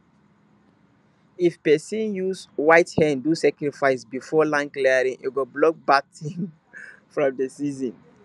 if person use white hen do sacrifice before land clearing e go block bad thing from the season